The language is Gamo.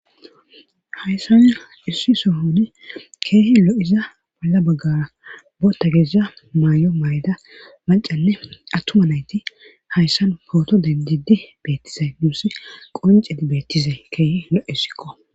Hayssani issi sohoni keehi lo7iza bolla baggara bo tagezza may7o mayda mancale attuma nayti hayssan pooto dendidi bettisay duusi qoncedi bettize keehi lo7essikko